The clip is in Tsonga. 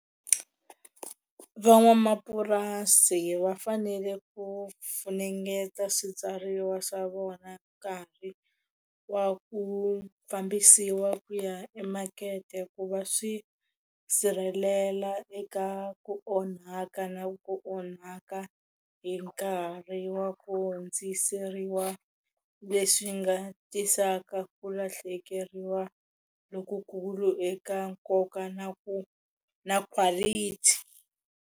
Van'wamapurasi va fanele ku funengeta swibyariwa swa vona nkarhi wa ku fambisiwa ku ya emakete ku va swi sirhelela eka ku onhaka na ku onhaka hi nkarhi wa ku hundziseriwa leswi nga tisaka ku lahlekeriwa lokukulu eka nkoka na ku na quality.